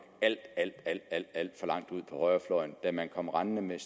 alt alt for langt ud på højrefløjen da man kom rendende med